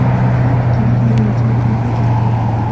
Har ikkala haydovchi vafot etdi.